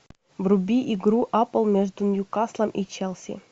вруби игру апл между ньюкаслом и челси